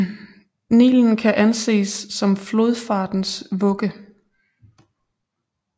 Nilen kan anses som flodfartens vugge